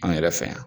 Anw yɛrɛ fɛ yan